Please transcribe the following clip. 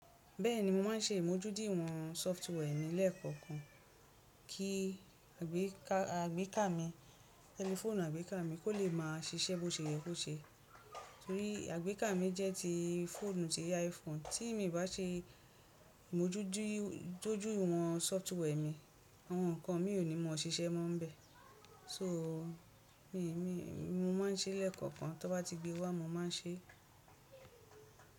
Bẹ́ẹ̀ni, mo máa ń ṣe ìmójúdìwọ̀n sọftíwia mi lẹ́ẹ̀kọ̀okan kí àgbéká mi, tẹlifóònù àgbéká mi kó lè máa ṣiṣẹ́ bó ṣe yẹ kó ṣe. Torí àgbéká mi jẹ́ ti fóònù tí iPhone tí mi n bá ṣe ìmójúdìwọ̀n sọftíwia mi, àwọn nǹkan mi ò ní maa ṣiṣẹ́ mọ́ nbẹ́. So mi, mi, mo máa ń ṣe lẹ́ẹ̀kọ̀okan, tó bá ti gbé wá mo máa ń ṣe.